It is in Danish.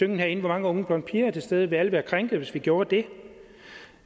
den herinde hvor mange unge blonde piger er til stede vil alle være krænkede hvis vi gjorde det